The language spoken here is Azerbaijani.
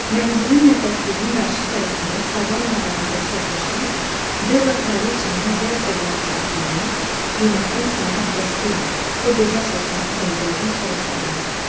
Mənzilin nəfəsliyinin qarşı tərəfində sabah mələikəsi otursaydı, Della kraliçanın ləl-cəvahiratlarını qiymətdən salmaq qəsdi ilə o gözəl saçlarını pəncərədən çölə sallayardı.